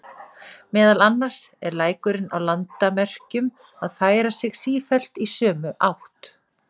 Meðal annars er lækurinn á landamerkjum að færa sig sífellt í sömu átt.